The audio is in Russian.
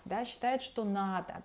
да считает что надо